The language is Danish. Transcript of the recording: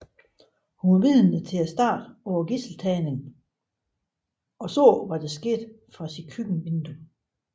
Hun var vidne til starten på gidseltagningen og så hvad der skete fra sit køkkenvindue